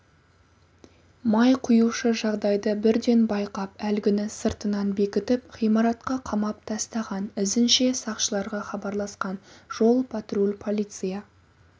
май құюшы жағдайды бірден байқап әлгінісыртынан бекітіп ғимаратқа қамап тастаған ізінше сақшыларға хабарласқан жол-патруль полиция